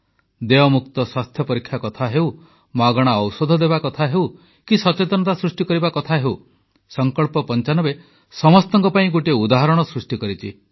ଦେୟମୁକ୍ତ ସ୍ୱାସ୍ଥ୍ୟ ପରୀକ୍ଷା କଥା ହେଉ ମାଗଣା ଔଷଧ ଦେବା କଥା ହେଉ କି ସଚେତନତା ସୃଷ୍ଟିକରିବା କଥା ହେଉ ସଂକଳ୍ପ95 ସମସ୍ତଙ୍କ ପାଇଁ ଗୋଟିଏ ଉଦାହରଣ ସୃଷ୍ଟି କରିଛି